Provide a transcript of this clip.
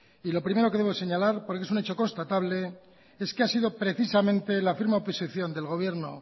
y lo primero que debo señalar porque esr un hecho constatable es que ha sido precisamente la firme oposición del gobierno